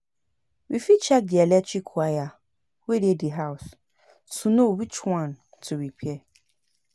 We fit check di electric wire wey dey di house to know which one to replace